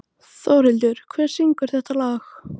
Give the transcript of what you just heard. Þórhildur, hver syngur þetta lag?